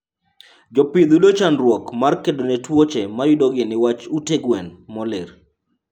Jopith yudo chandruok mar kedone tuoche mayudogi niwach ute gwen molil